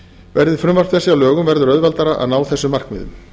verði frumvörp þessi að lögum verður auðveldara að ná þessum markmiðum